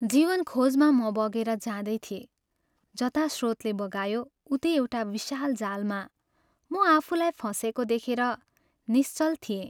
जीवनखोजमा म बगेर जाँदै थिएँ जता स्रोतले बगायो उतै एउटा विशाल जालमा म आफूलाई फँसेको देखेर निश्चल थिएँ।